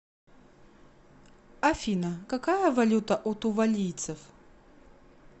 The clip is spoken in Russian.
афина какая валюта у тувалийцев